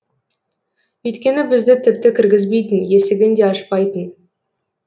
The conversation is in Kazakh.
өйткені бізді тіпті кіргізбейтін есігін де ашпайтын